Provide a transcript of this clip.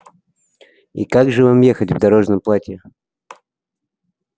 и как же вам ехать в дорожном платье